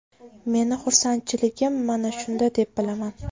Meni xursandchiligim mana shunda deb bilaman.